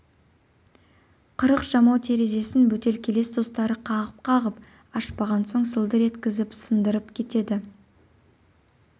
қырық жамау терезесін бөтелкелес достары қағып-қағып ашпаған соң сылдыр еткізіп сындырып кетеді